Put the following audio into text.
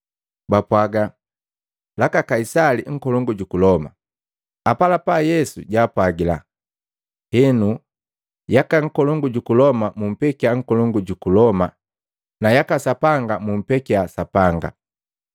Bapwaga, “Jaka Kaisali Nkolongu juku Loma.” Apalapa Yesu jaapwagila, “Henu yaka Nkolongu juku Loma mupekia Nkolongu juku Loma na yaka Sapanga mupekia Sapanga.”